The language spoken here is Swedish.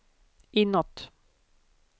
inåt